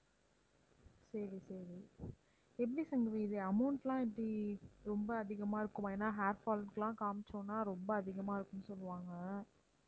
சரி சரி எப்படி சங்கவி இது amount லாம் எப்படி ரொம்ப அதிகமா இருக்குமா? ஏன்னா hair fall க்குலாம் காமிச்சோம்னா ரொம்ப அதிகமா இருக்கும்னு சொல்லுவாங்க